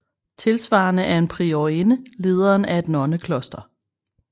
Tilsvarende er en priorinde lederen af et nonnekloster